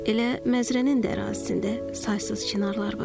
Elə Məzrənin də ərazisində saysız çinarlar var.